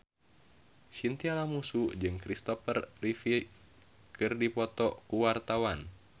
Chintya Lamusu jeung Kristopher Reeve keur dipoto ku wartawan